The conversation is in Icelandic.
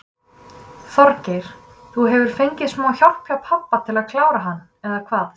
Þorgeir: Þú hefur fengið smá hjálp hjá pabba til að klára hann eða hvað?